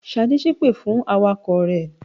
Ṣadé ṣépè fún awakọ̀ rẹ̀.